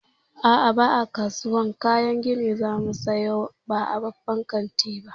A'a, ba a kasuwan kayan gini za mu saya ba a babban kanti ba.